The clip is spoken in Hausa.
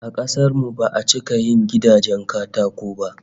A kasar mu ba'a cika yin gidajen katako ba